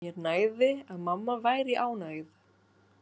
Mér nægði að mamma væri ánægð.